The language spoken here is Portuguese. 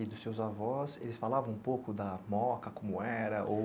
E dos seus avós, eles falavam um pouco da moca, como era ou?